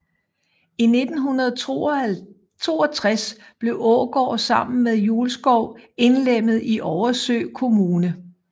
I 1962 blev Ågård sammen med Julskov indlemmet i Oversø Kommune